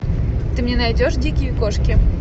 ты мне найдешь дикие кошки